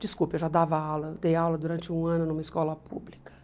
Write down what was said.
Desculpe, eu já dava aula, dei aula durante um ano numa escola pública.